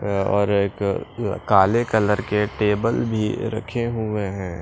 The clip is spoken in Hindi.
और एक काले कलर के टेबल भी रखे हुए हैं।